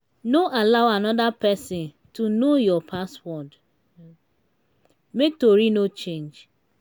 no allow anoda pesin to know your password make tori no change.